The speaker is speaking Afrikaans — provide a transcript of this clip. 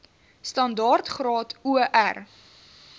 standaard graad or